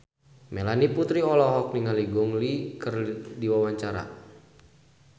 Melanie Putri olohok ningali Gong Li keur diwawancara